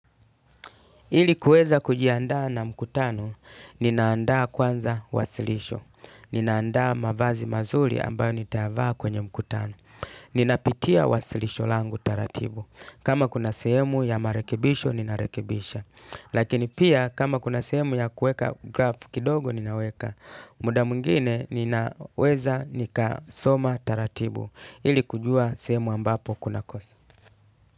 Ili kueza kujiandaa na mkutano, ninaandaa kwanza wasilisho, ninaandaa mavazi mazuli ambayo nitayavaa kwenye mkutano. Ninapitia wasilisho langu taratibu. Kama kuna sehemu ya marekebisho, ninarekebisha. Lakini pia kama kuna sehemu ya kuweka grafu kidogo, ninaweka. Muda mwingine ninaweza nika soma taratibu. Ili kujua sehemu ambapo kunakosa.